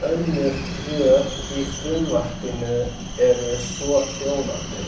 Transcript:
Önnur rök í frumvarpinu eru svohljóðandi.